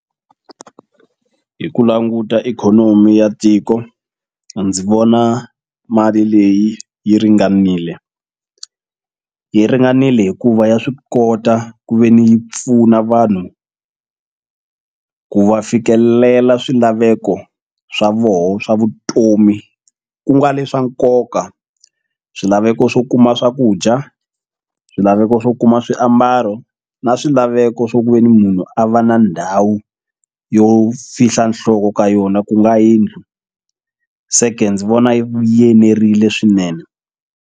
Hi ku languta ikhonomi ya tiko ndzi vona mali leyi yi ringanile yi ringanile hikuva ya swi kota ku ve ni yi pfuna vanhu ku va fikelela swilaveko swa voho swa vutomi ku nga le swa nkoka swilaveko swo kuma swakudya swilaveko swo kuma swi ambalo na swilaveko swo ku veni munhu a va na ndhawu yo fihla nhloko ka yona ku nga yindlu se ke ndzi vona yi yenerile swinene.